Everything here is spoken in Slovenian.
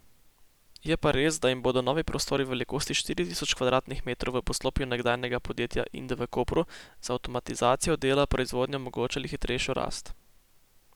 Je pa res, da jim bodo novi prostori v velikosti štiri tisoč kvadratnih metrov v poslopju nekdanjega podjetja Inde v Kopru z avtomatizacijo dela proizvodnje omogočali hitrejšo rast.